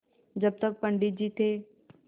जब तक पंडित जी थे